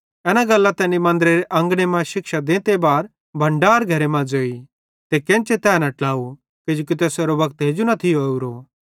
एना गल्लां तैनी मन्दरेरे अंगने मां शिक्षा देते भण्डार घरे मां ज़ोई ते केन्चे तै न ट्लाव किजोकि तैसेरो वक्त हेजू न थियो ओरो